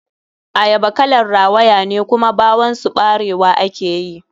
Ayaba kalar rawayane, kuma ɓawon su ɓarewa ake yi.